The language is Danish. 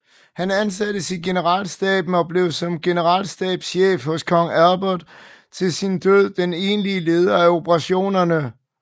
Han ansattes i generalstaben og blev som generalstabschef hos kong Albert til sin død den egentlige leder af operationerne